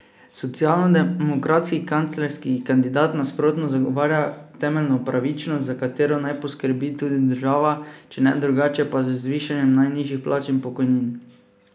Socialdemokratski kanclerski kandidat nasprotno zagovarja temeljno pravičnost, za katero naj poskrbi tudi država, če ne drugače, pa z zvišanjem najnižjih plač in pokojnin.